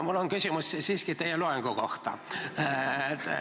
Mul on küsimus siiski teie loengu kohta.